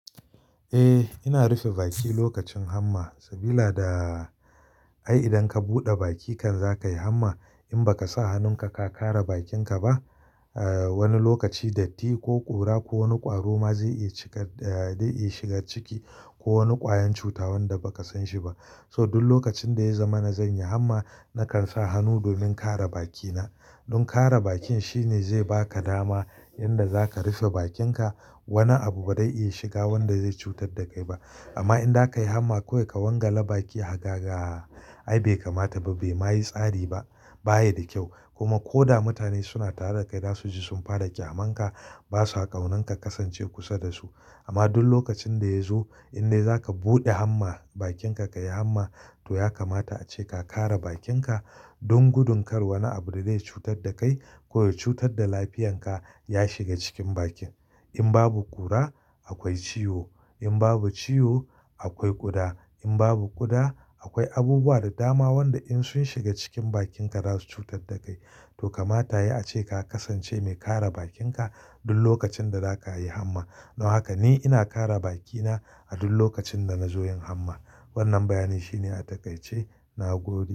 Eh, ina rufe baki lokacin hamma saboda da ai idan ka buɗe bakinka za ka yi hamma. In ba ka sa hannunka ka kare bakinka ba, wani lokaci datti ko ƙura ko wani ƙwaro ma zai iya cika, da iya shiga ciki ko wani ƙwayan cuta wanda ba ka san shi ba. So duk lokacin da ya zama na zan yi hamma, na kan sa hannu domin kare bakina. Don kare bakin shine zai ba ka dama yanda za ka rufe bakinka. Wani abu ba zai iya shiga wanda zai cutar da kai ba. Amma idan za ka yi hamma ko ka wangala baki hagaga, ai bai kamata ba, bai ma yi tsari ba, ba ya da kyau. Kuma ko da mutane suna tare da kai dasu ji sun fara ƙyamanka, basu a ƙaunan ka kasance kusa da su. Amma duk lokacin da ya zo, idan zaka buɗe hamma bakinka kayi hamma, to ya kamata ace ka kare bakinka don gudin kar wani abu da zai cutar da kai ko ya cutar da lafiyanka ya shiga cikin bakin. In babu ƙura, akwai ciwo, in babu ciwo, akwai ƙuda. In babu ƙuda, akwai abubuwa da dama wanda in sun shiga cikin bakinka za su cutar da kai. To kamata yai a ce ka kasance mai kare bakinka duk lokacin da za ka yi hamma. Don haka ni ina kare bakina a duk lokacin da na zo yin hamma. Wannan bayani shine a takaice na gobe.